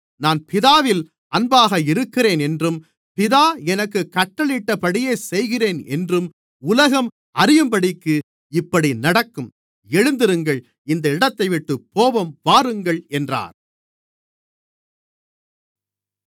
நான் பிதாவில் அன்பாக இருக்கிறேன் என்றும் பிதா எனக்குக் கட்டளையிட்டபடியே செய்கிறேன் என்றும் உலகம் அறியும்படிக்கு இப்படி நடக்கும் எழுந்திருங்கள் இந்த இடத்தைவிட்டுப் போவோம் வாருங்கள் என்றார்